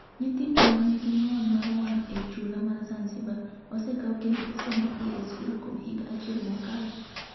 Nyithindo ma nigi ng’ol mar wang' e chula mar Zanzibar osekaw kendo osendikigi e skul kuom higa achiel mokalo.